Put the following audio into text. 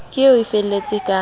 ke eo e feletse ka